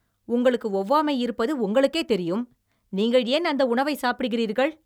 உங்களுக்கு ஒவ்வாமை இருப்பது உங்களுக்கே தெரியும், நீங்கள் ஏன் அந்த உணவை சாப்பிடுகிறீர்கள்?